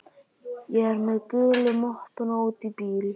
Ég er með gulu möppuna úti í bíl.